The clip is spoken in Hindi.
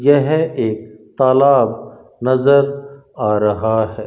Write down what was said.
यह एक तालाब नजर आ रहा है।